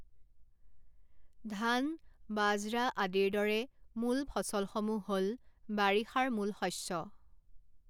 ধান, বাজৰা আদিৰ দৰে মূল ফসলসমূহ হ'ল বাৰিষাৰ মূল শস্য।